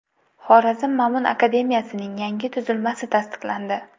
Xorazm Ma’mun akademiyasining yangi tuzilmasi tasdiqlandi.